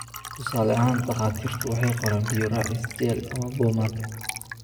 Tusaale ahaan, takhaatiirtu waxay qoraan biyo raacis, jel, ama boomaato.